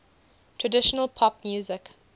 traditional pop music